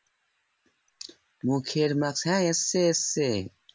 মুখের mask হ্যাঁ এসছে এসছে